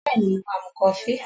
Bẹ́ẹ̀ni, mo máa mu kofí